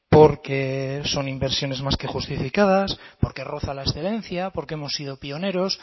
porque son inversiones más que justificadas porque roza la excelencia porque hemos sido pioneros